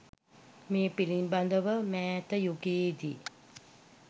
මේ පිළිබඳ ව මෑත යුගයේ දි